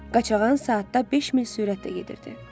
Qaçağan saatda beş mil sürətlə gedirdi.